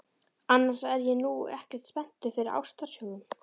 Annars er ég nú ekkert spenntur fyrir ástarsögum.